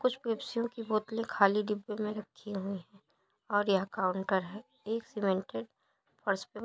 कुछ पेपसियों की बोतलें खाली डिब्बे में रखी हुई और यहाँ काउंटर है। एक सीमेंटेड --